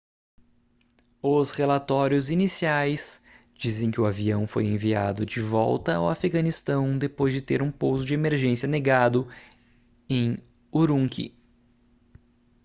os relatórios iniciais dizem que o avião foi enviado de volta ao afeganistão depois de ter um pouso de emergência negado em urumqi